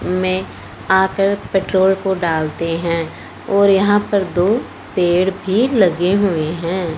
मैं आकर पेट्रोल को डालते हैं और यहां पे दो पेड़ भी लगे हुए हैं।